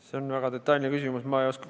See on väga detailne küsimus, ma ei oska vastata.